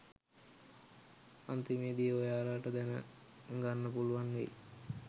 අන්තිමේදි ඔයාලට දැන ගන්න පුලුවන් වෙයි